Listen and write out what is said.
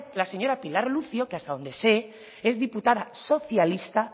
la señora pilar lucio que hasta dónde sé es diputada socialista